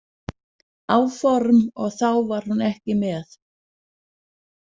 áform og þá var hún ekki með.